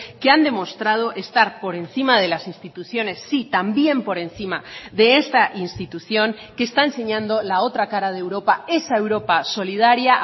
que han demostrado estar por encima de las instituciones sí también por encima de esta institución que está enseñando la otra cara de europa esa europa solidaria